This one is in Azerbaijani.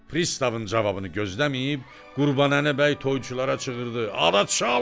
Pristavın cavabını gözləməyib, Qurbanəli bəy toyçulara çığırdı: "Aha çalın!